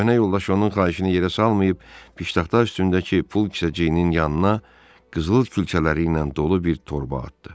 Köhnə yoldaş onun xahişini yerə salmayıb, piştaxta üstündəki pul kisəcəyinin yanına qızıl külçələri ilə dolu bir torba atdı.